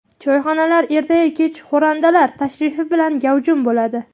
Choyxonalar erta-yu kech xo‘randalar tashrifi bilan gavjum bo‘ladi.